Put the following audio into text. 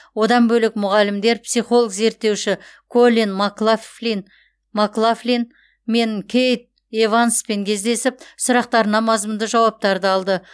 одан бөлек мұғалімдер психолог зерттеуші коллин маклафлин маклафлин мен кейт эванспен кездесіп сұрақтарына мазмұнды жауаптарды алды